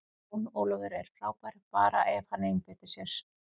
Jón Ólafur er frábær, bara ef hann einbeitir sér.